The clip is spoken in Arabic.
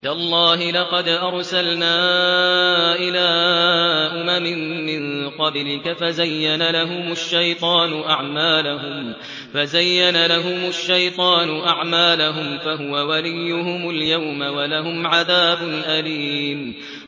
تَاللَّهِ لَقَدْ أَرْسَلْنَا إِلَىٰ أُمَمٍ مِّن قَبْلِكَ فَزَيَّنَ لَهُمُ الشَّيْطَانُ أَعْمَالَهُمْ فَهُوَ وَلِيُّهُمُ الْيَوْمَ وَلَهُمْ عَذَابٌ أَلِيمٌ